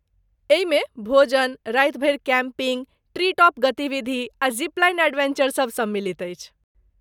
एहिमे भोजन, राति भरि कैम्पिङ्ग , ट्री टॉप गतिविधि आ ज़िप लाइन एडवेंचरसब सम्मिलित अछि।